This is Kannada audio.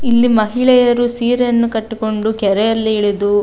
ಇಲ್ಲಿ ಮಹಿಳೆಯರು ಸೀರೆಯನ್ನು ಕಟ್ಟಿಕೊಂಡು ಕೆರೆಯಲ್ಲಿ ಇಳಿದು.